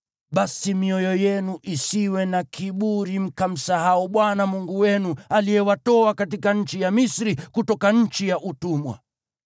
basi mioyo yenu isiwe na kiburi mkamsahau Bwana Mungu wenu aliyewatoa katika nchi ya Misri, kutoka nchi ya utumwa.